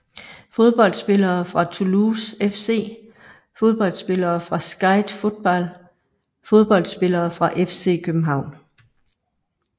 Fodboldspillere fra Toulouse FC Fodboldspillere fra Skeid Fotball Fodboldspillere fra FC København